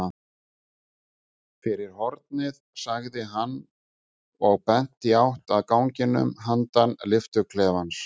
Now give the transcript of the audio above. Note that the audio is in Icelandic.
Fyrir hornið sagði hann og benti í átt að ganginum handan lyftuklefans.